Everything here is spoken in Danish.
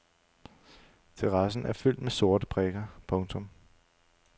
Terrassen er fyldt med sorte prikker. punktum